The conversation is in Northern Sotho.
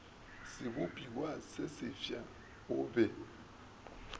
sebopiwa se sefsa o be